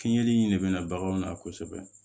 Fiɲɛli in de bɛ na baganw na kosɛbɛ